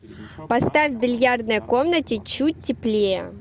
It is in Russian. поставь в бильярдной комнате чуть теплее